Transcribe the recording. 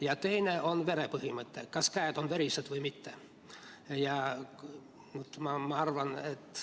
Ja teine on verepõhimõte: kas käed on verised või mitte.